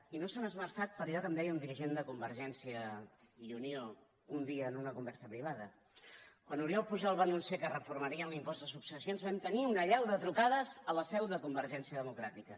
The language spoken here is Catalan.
i no s’hi han esmerçat per allò que em deia un dirigent de convergència i unió un dia en una conversa privada quan oriol pujol va anunciar que reformarien l’impost de successions vam tenir una allau de trucades a la seu de convergència democràtica